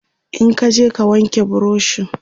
in kaje ka wanke burushin!